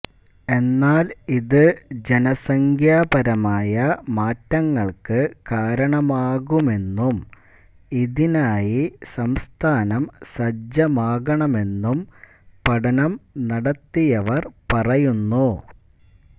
എന്നാല് ഇത് ജനസംഖ്യാപരമായ മാറ്റങ്ങള്ക്ക് കാരണമാകുമെന്നും ഇതിനായി സംസ്ഥാനം സജ്ജമാകണമെന്നും പഠനം നടത്തിയവര് പറയുന്നു